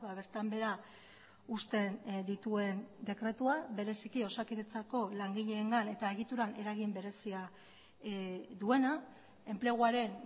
bertan behera uzten dituen dekretua bereziki osakidetzako langileengan eta egituran eragin berezia duena enpleguaren